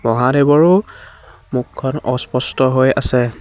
মহাদেৱৰো মুখখন অস্পষ্ট হৈ আছে।